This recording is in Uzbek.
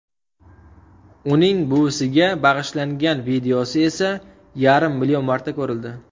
Uning buvisiga bag‘ishlagan videosi esa yarim million marta ko‘rildi.